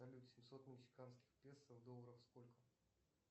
салют семьсот мексиканских песо в долларах сколько